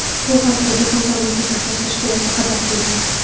Bu haqda jahon sog‘liqni saqlash tashkiloti xabar qilgan .